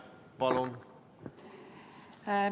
Palun!